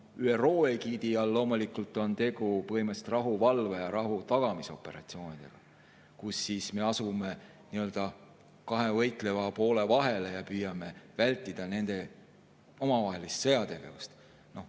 ÜRO egiidi all on loomulikult tegu põhimõtteliselt rahuvalve‑ ja rahutagamisoperatsioonidega, kus me asume kahe võitleva poole vahel ja püüame vältida nende omavahelist sõjategevust.